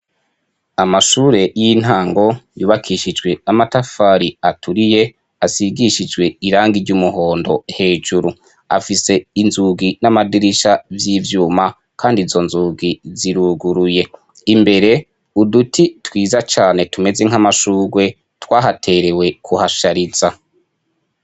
Amashure y'intango yubakishijwe amatafari aturiye , asigishijwe irangi ry'umuhondo hejuru, afise inzugi n'amadirisha vy'ivyuma kandi izo nzugi ziruguruye, imbere uduti twiza cane tumeze nk'amashugwe twahaterewe kuhashariza.